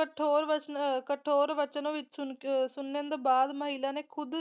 ਕਠੋਰ ਵਸ ਕਠੋਰ ਵਚਨਾਂ ਵਿੱਚ ਅਹ ਸੁਣਨ ਤੋਂ ਬਾਅਦ ਮਹਿਲਾ ਨੇ ਖੁਦ